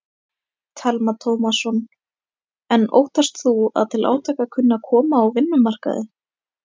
Telma Tómasson: En óttast þú að til átaka kunni að koma á vinnumarkaði?